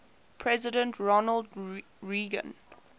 president ronald reagan